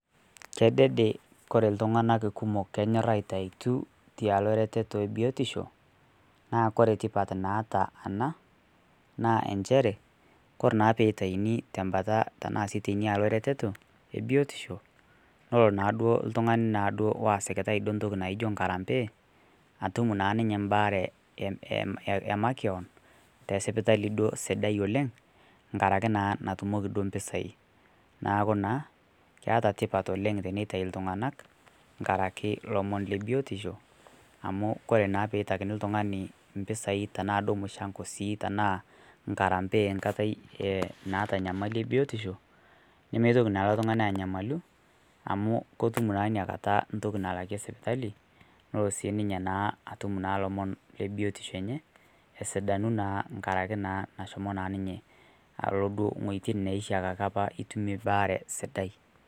Kedede kore ltung'anak kumok kenyor aitaituu tealoo retetoo ebiotishoo naa kore tipat naata anaa naa enshere kore naa peitainii tembataa tanaa sii teinia aloo eretetoo ebiotishoo nolo naaduo ltung'anii naaduo ltung'anii naa oasikitai ntokii naijo nkarampee atum naa ninyee mbaare emakeon tesipitalii duo sidai oleng' ng'arakee naa natumokii duo mpisai naakiu naa keata tipat oleng' teneitai ltung'anak ng'arake lomon lebiotishoo amu kore naa peitakinii ltung'ani mpisai tanaa sii duo muchangoo naa sii tanaa nkarampee enkataa naata nyamalii ebiotishoo nemeitokii naa ilo tunganii anyamaluu amu kotum naa inia kataa ntoki nalakie inia sipitalii noloo naa sio ninyee naa atum naa lomon lebiotisho enye esidanuu naa ng'arakee naa neshomoo naa ninyee aloo duo ng'ojitin neishiakaki apaa itumie baare sidai.